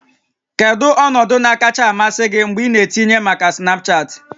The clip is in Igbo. Kedu ọnọdụ kacha amasị gị mgbe ị na-etinye maka Snapchat?